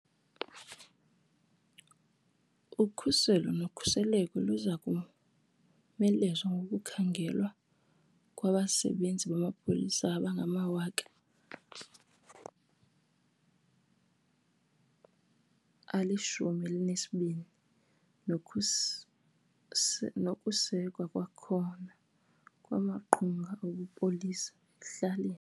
Ukhuselo nokhuseleko luza komelezwa ngokukhangelwa kwabasebenzi bamapolisa abangama12 000 nokusekwa kwakhona kwamaqonga obupolisa ekuhlaleni.